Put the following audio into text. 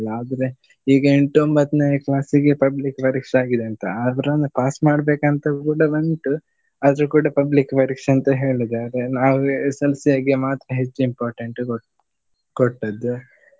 ಆದ್ರೆ ಈಗ ಎಂಟ್ ಒಂಬತ್ನೆ class ಗೆ public ಪರೀಕ್ಷೆ ಆಗಿದೆಂತ ಆದ್ರುನೂ pass ಮಾಡ್ಬೇಕಂತ ಕೂಡ ಉಂಟು ಆದ್ರೂ ಕೂಡ public ಪರೀಕ್ಷೆ ಅಂತ ಹೇಳಿದ್ದಾರೆ. ನಾವು SSLC ಹಾಗೆ ಮಾತ್ರ ಹೆಚ್ಚು important ಕೊಟ್~ ಕೊಟ್ಟದ್ದು.